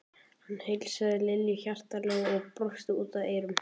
Hann heilsaði Lillu hjartanlega og brosti út að eyrum.